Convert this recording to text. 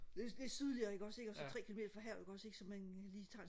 lidt sydligere ikke også ikke og så tre kilometer fra havet ikke også ikke så man lige tager